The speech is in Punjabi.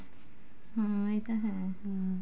ਹਮ ਇਹ ਤਾਂ ਹੈ ਹਮ